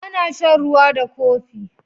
Ana shan ruwa da kopi.